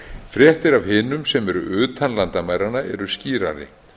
fréttir af hinum sem eru utan landamæranna eru skýrari